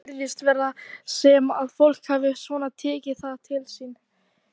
Fundurinn sendi ríkisstjórninni ályktun sem ítrekuð var nokkrum dögum síðar, en henni var aldrei svarað.